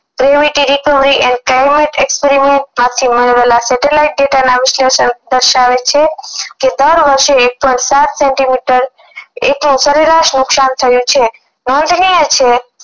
privity require and private experiment હાથથી મેળવેલાં setellite data ના વિશ્લેષણ દર્શાવે છે કે દર વર્ષે એક પોઈન્ટ સાત સેન્ટિમીટર એટલું સરેરાશ નુકશાન થયું છે છે